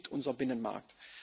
Davon lebt unser Binnenmarkt.